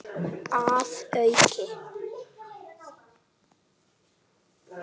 Að auki